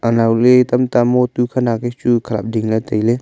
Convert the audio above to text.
nowley tamta motu khanak chu khalap lingle taile.